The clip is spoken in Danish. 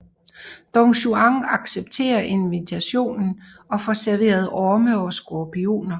Don Juan accepterer invitationen og får serveret orme og skorpioner